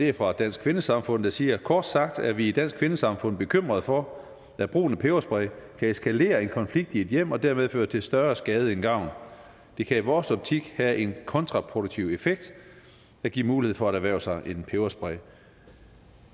er fra dansk kvindesamfund der siger kort sagt er vi i dansk kvindesamfund bekymrede for at brugen af peberspray kan eskalere en konflikt i et hjem og dermed føre til større skade end gavn det kan i vores optik have en kontraproduktiv effekt at give mulighed for at erhverve sig en peberspray